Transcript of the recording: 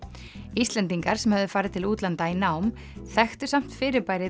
Íslendingar sem höfðu farið til útlanda í nám þekktu samt fyrirbærið